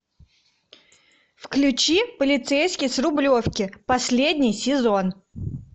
включи полицейский с рублевки последний сезон